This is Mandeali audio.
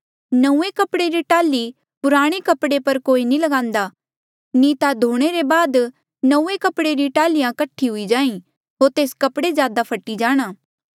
नंऊँऐं कपड़े री टाल्ही पुराणे कपड़े पर कोई नी ल्गान्दा नी ता धोणे ले बाद नंऊँऐं कपड़े री टाल्हिया कठी हुई जाहीं होर तेस कपड़े ज्यादा फटी जाणा